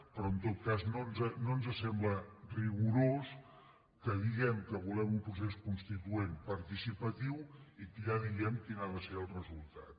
però en tot cas no ens sembla rigorós que diguem que volem un procés constituent participatiu i que ja diguem quin ha de ser el resultat